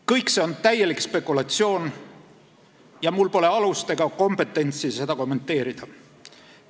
Kõik see on täielik spekulatsioon ja mul pole alust ega kompetentsi seda kommenteerida.